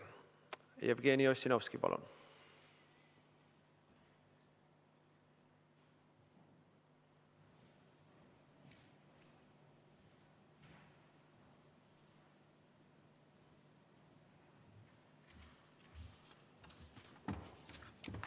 Jevgeni Ossinovski, palun!